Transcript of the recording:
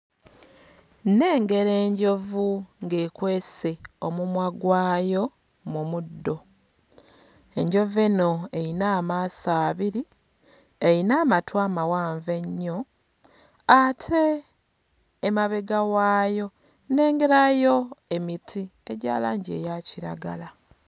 Nnengera enjovu ng'ekwese omumwa gwayo mu muddo. Enjovu eno eyina amaaso abiri, eyina amatu amawanvu ennyo ate emabega waayo nnengerayo emiti egya langi eya kiragala.